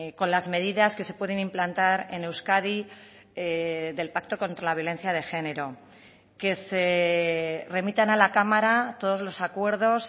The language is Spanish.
con las medidas que se pueden implantar en euskadi del pacto contra la violencia de género que se remitan a la cámara todos los acuerdos